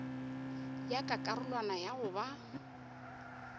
ya ka karolwana ya goba